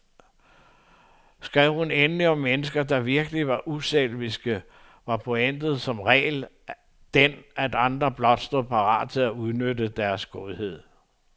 Skrev hun endelig om mennesker, der virkelig var uselviske, var pointen som regel den, at andre blot stod parat til at udnytte deres godhed.